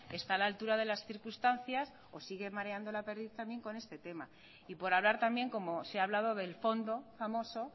está a la altura de las circunstancias o sigue mareando la perdiz también con este tema y por hablar también como se ha hablado del fondo famoso